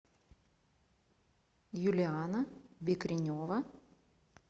юлианна бекренева